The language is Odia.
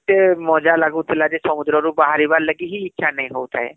କେତେ ମଜ଼ା ଲାଗୁଥିଲା ଯେ , ସମୁଦ୍ର ରୁ ବାହାରିବାର ଲାଗି ହିଁ ଇଛା ହଉ ନଥାଏ